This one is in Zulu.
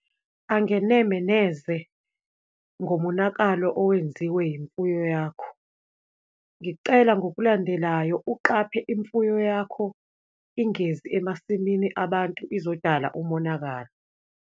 Angeneme neze ngomonakalo owenziwe imfuyo yakho. Ngicela ngokulandelayo, uqaphe imfuyo yakho ingezi emasimini abantu izodala umonakalo.